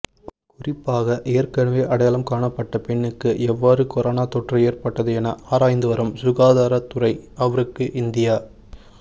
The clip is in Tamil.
குறிப்பாக ஏற்கனவே அடையாளம் காணப்பட்ட பெண்ணுக்கு எவ்வாறு கொரோனா தொற்று ஏற்பட்டது என ஆராய்ந்துவரும் சுகாதாரத் துறை அவருக்கு இந்தியா